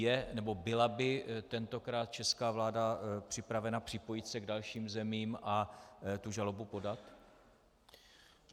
Je nebo byla by tentokrát česká vláda připravena připojit se k dalším zemím a tu žalobu podat?